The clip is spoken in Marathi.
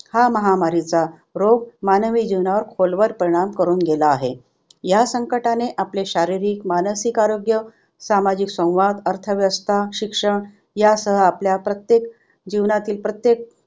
हा महामारीचा रोग मानवी जीवनावर खोलवर परिणाम करून गेला आहे. ह्या संकटाने आपले शारीरिक, मानसिक आरोग्य सामाजिक संवाद, अर्थव्यवस्था, शिक्षण यासह आपल्या प्रत्येक, जीवनातील प्रत्येक